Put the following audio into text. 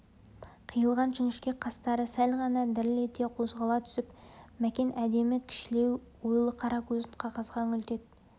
қиылған жіңішке қастары сәл ғана діріл ете қозғала түсіп мәкен әдемі кішілеу ойлы қара көзін қағазға үңілтеді